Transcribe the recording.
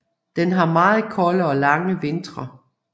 Den har meget kolde og lange vintre